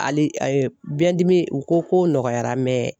Hali a ye biyɛndimi u ko ko nɔgɔyara